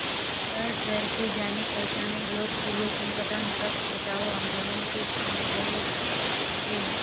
वह शहर के जानेपहचाने लोकप्रिय संगठन वृक्ष बचाओ आंदोलन के समन्वयक थे